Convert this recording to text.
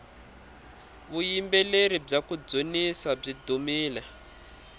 vuyimbeleri bya kudzunisa byi dumile